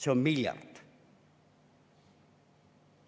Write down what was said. See on miljard!